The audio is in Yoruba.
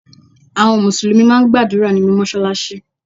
Àwọn Mùsùlùmí máà ń gbàdúrà nínú Mọ́ṣáláṣí.